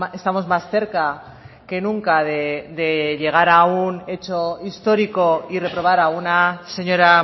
estamos más cerca que nunca de llegar a un hecho histórico y reprobar a una señora